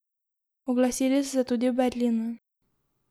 Oglasili so se tudi v Berlinu.